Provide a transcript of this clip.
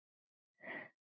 Þau áttu bara ekki saman.